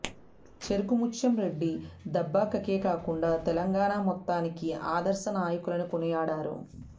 చెరుకు ముత్యం రెడ్డి దుబ్బాకకే కాకుండా తెలంగాణ మొత్తానికి ఆదర్శ నాయకులని కొనియాడారు